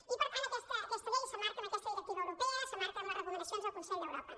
i per tant aquesta llei s’emmarca en aquesta directiva europea s’emmarca en les recomanacions del consell d’europa